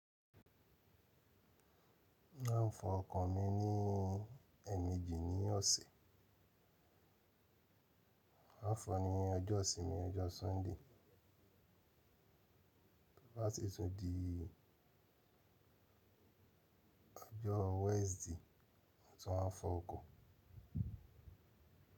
A ń fọn ọkọ̀ mi ní ẹ̀mejì ní ọ̀sẹ̀. Àfọ̀n ni ọjọ́ ìsinmi ọjọ́ Sunday. Láti tún di ọjọ́ Wednesday tán fún ọkọ̀.